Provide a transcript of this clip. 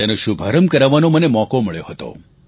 તેનો શુભારંભ કરાવવાનો મને મોકો મળ્યો હતો